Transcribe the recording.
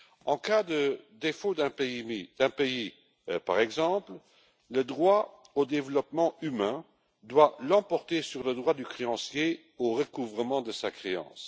En cas de défaut de paiement d'un pays, par exemple, le droit au développement humain doit l'emporter sur le droit du créancier au recouvrement de sa créance.